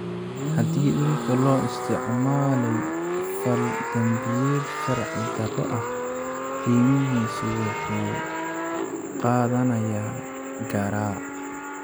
Haddii dhulka loo isticmaalay fal-dambiyeed sharci darro ah, qiimihiisu wuxuu qaadanayaa garaac.